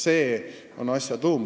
See on asja tuum.